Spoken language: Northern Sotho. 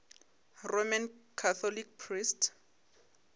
roman catholic priest